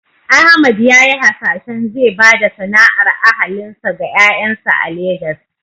Ahmad ya yi hasashen zai ba da sana’ar ahalinsa ga ƴaƴansa a Legas.